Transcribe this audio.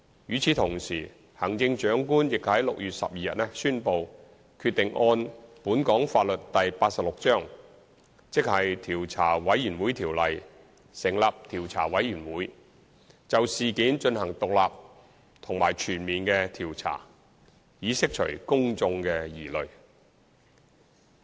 與此同時，行政長官已於6月12日宣布決定按本港法例第86章《調查委員會條例》，成立調查委員會，就事件進行獨立及全面的調查，以釋除公眾的疑慮。